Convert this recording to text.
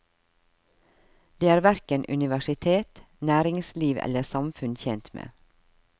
Det er hverken universitet, næringsliv eller samfunn tjent med.